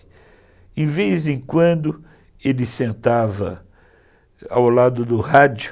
De vez em quando, ele sentava ao lado do rádio,